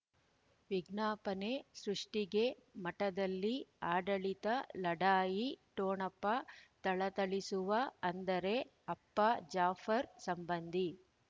ವಿಜ್ಞಾಪನೆ ಸೃಷ್ಟಿಗೆ ಮಠದಲ್ಲಿ ಆಡಳಿತ ಲಢಾಯಿ ಠೊಣಪ ಥಳಥಳಿಸುವ ಅಂದರೆ ಅಪ್ಪ ಜಾಫರ್ ಸಂಬಂಧಿ